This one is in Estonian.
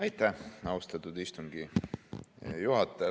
Aitäh, austatud istungi juhataja!